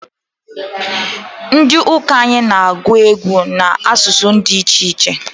Ndi uka anyị na-agwụ egwu n'asụsụ di ichiche